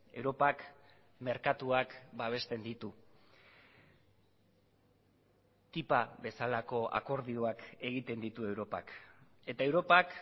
europak merkatuak babesten ditu ttipa bezalako akordioak egiten ditu europak eta europak